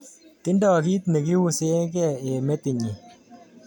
Tindo kit nekiuse ke eng metit nyin